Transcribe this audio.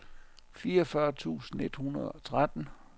fireogfyrre tusind et hundrede og tretten